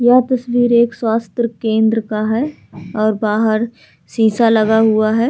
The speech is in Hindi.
यह तस्वीर एक स्वास्थ्य केंद्र का है और बाहर शीशा लगा हुआ है।